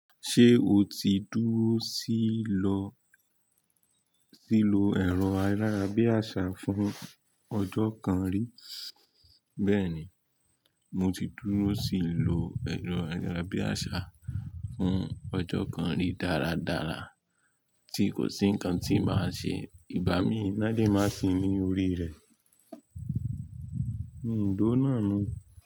Ṣé o ti dúró síì lọ, síí lo ẹ̀rọ ayárabíàṣá fún ọjọ́ kan rí? Bẹ́ẹ̀ni, mo ti dúró síì lo ẹ̀rọ ayárabíàṣá fún ọjọ́ kan rí dáradára tí kò sí nǹkan tí màá ṣe. Ìbá mi, Ina le máa sìn ní orí rẹ̀. Mi ò dó náà mọ́